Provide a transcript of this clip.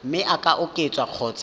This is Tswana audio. mme e ka oketswa kgotsa